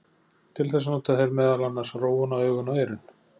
Til þess nota þeir meðal annars rófuna, augun og eyrun.